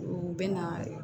U bɛ na